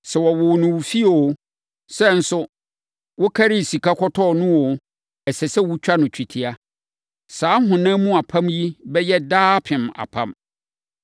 Sɛ wɔwoo no wo fie oo, sɛ nso, wokarii sika kɔtɔɔ no oo, ɛsɛ sɛ wɔtwa no twetia. Saa honam mu apam yi bɛyɛ daapem apam.